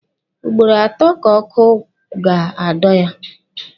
Ugboro atọ ka ọkụ ga-adọ ya.